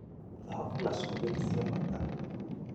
dhahabu na cumbĩ nĩ cia bata